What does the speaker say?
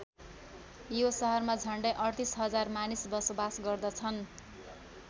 यो सहरमा झन्डै ३८ हजार मानिस बसोबास गर्दछन्।